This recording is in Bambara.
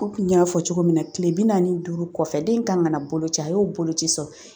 Komi n y'a fɔ cogo min na kile bi naani ni duuru kɔfɛ den kan ka na boloci a y'o boloci sɔrɔ